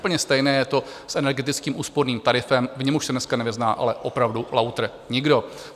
Úplně stejné je to s energeticky úsporným tarifem, v němž už se dneska nevyzná ale opravdu lautr nikdo.